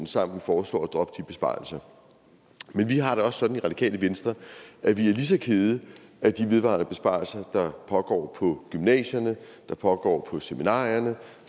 sammen foreslår at droppe de besparelser men vi har det også sådan i radikale venstre at vi er ligeså kede af de vedvarende besparelser der pågår på gymnasierne der pågår på seminarierne